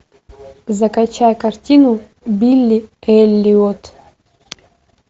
закачай картину билли эллиот